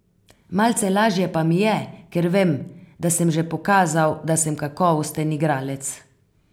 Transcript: Malce lažje pa mi je, ker vem, da sem že pokazal, da sem kakovosten igralec.